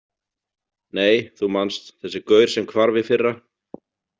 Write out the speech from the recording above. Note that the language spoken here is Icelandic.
Nei, þú manst, þessi gaur sem hvarf í fyrra.